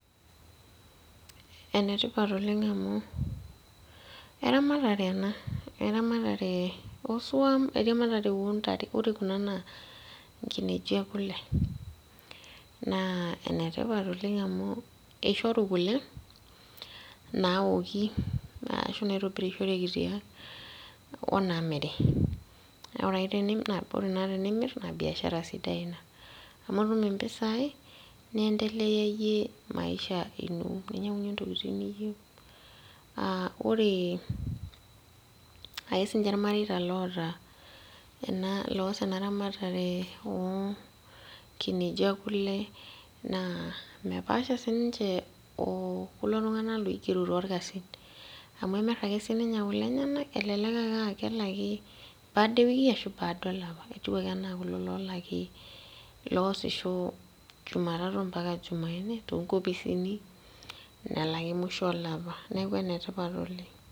Enetipat oleng amu eramatare ena, eramatare osuam eramatare ontare ore kuna naa nkinejik ekule naa enetipat oleng amu eishoru kule nawoki ashu naitobirishoreki tiang onamiri naa ore naa tenimirr naa biashara sidai ina amu itum impisai niendeleyayie maisha ino ninyiang'unyie intokiting niyieu uh ore ake sininche irmareita loota ena loos ena ramatare onkinejik ekule naa mepaasha oh kuna tung'anak loigero torkasin amu emirr ake sininye kule enyenak elelek ake aa kelaki baada ewiki ashu baada olapa etiu ake enaa kulo lolaki loosisho juma tatu ampaka jumanne nelaki musho olapa neku enetipat oleng.